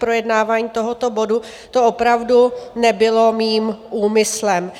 projednávání tohoto bodu, to opravdu nebylo mým úmyslem.